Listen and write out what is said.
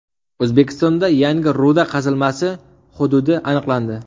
O‘zbekistonda yangi ruda qazilmasi hududi aniqlandi.